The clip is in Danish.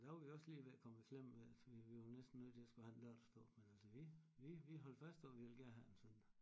Der var vi også lige ved at komme i klemme vi vi var næsten nødt til at skulle have en lørdagsdåb men altså vi vi vi holdt fast og vi ville gerne have en søndag